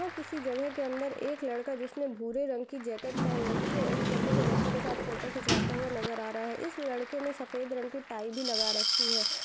यहाँ किसी जगह के अंदर एक लड़का जिसने भूरे रंगकी जैकेट पहन रखी हैं एक छोटे से बच्चे के साथ फोटो खिचवाते हुआ नजर आ रह हैं इस लड़के ने सफ़ेद रंग की टाई भी लगा रखी है।